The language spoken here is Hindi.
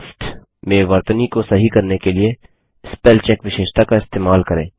टेक्स्ट में वर्तनी को सही करने के लिए स्पेलचेक विशेषता का इस्तेमाल करें